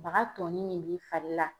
Baga tɔnin min b'i fari la